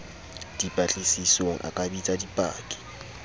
dipatlisisong a ka bitsa dipaki